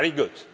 Very good.